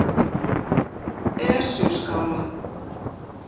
Esjuskála